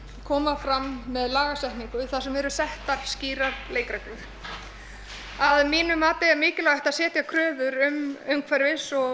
koma fram með lagasetningu þar sem eru settar skýrar leikgreglur að mínu mati er mikilvægt að setja kröfur um umhverfis og